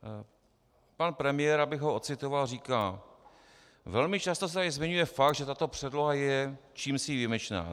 Pan premiér, abych ho odcitoval, říká: Velmi často se tady zmiňuje fakt, že tato předloha je čímsi výjimečná.